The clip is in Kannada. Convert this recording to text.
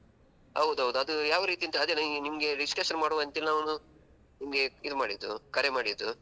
ಹೌದು ಹೌದು ಅದು ಯಾವ ರೀತಿ ಅಂತ ಅದೇ ಅದು ನಿಮ್ಗೆ discussion ಮಾಡುವಾಂತ ಹೇಳಿ ನಾವು ಒಂದು ನಿಮ್ಗೆ ಇದು ಮಾಡಿದ್ದು ಕರೆ ಮಾಡಿದ್ದು.